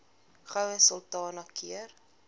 goue sultana keur